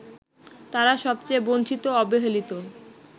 তাঁরা সবচেয়ে বঞ্চিত-অবহেলিত